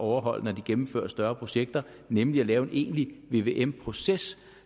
overholde når de gennemfører større projekter nemlig at lave en egentlig vvm proces